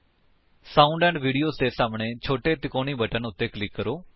sound and video ਦੇ ਸਾਹਮਣੇ ਛੋਟੇ ਤਿਕੋਣੀ ਬਟਨ ਉੱਤੇ ਕਲਿਕ ਕਰੋ